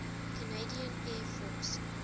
canadian air force